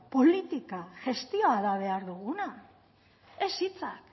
politika gestioa da behar duguna ez hitzak